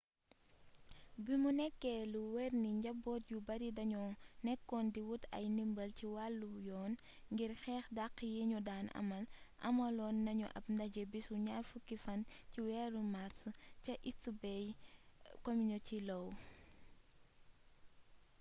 bimu nekkee lu wér ni njaboot yu bari dañoo nekkoon di wut ay ndimbal ci wàllu yoon ngir xeex dàq yiñu daan amal amaloon nañu ab ndaje bisu 20 màrs ca east bay community law